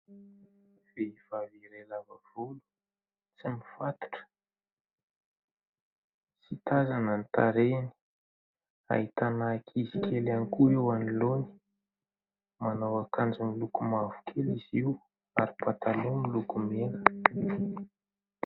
Vehivavy iray lava volo, tsy mifatotra, tsy tazana ny tarehiny. Ahitana ankizy kely ihany koa eo anoloany manao akanjo miloko mavokely izy io ary mipatalo miloko mena.